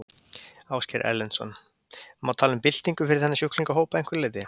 Ásgeir Erlendsson: Má tala um byltingu fyrir þennan sjúklingahóp að einhverju leyti?